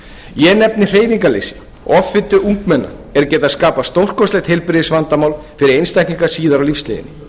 ég nefni hreyfingarleysi offitu ungmenna er geta skapað stórkostlegt heilbrigðisvandamál fyrir einstaklinga síðar á lífsleiðinni